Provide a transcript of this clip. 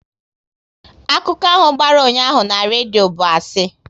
Akụkọ ahụ gbara ụnyaahụ na redio bụ asị